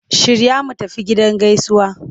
Shirya mu tafi gidan gaisuwa!